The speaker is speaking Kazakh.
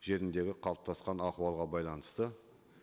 жеріндегі қалыптасқан ахуалға байланысты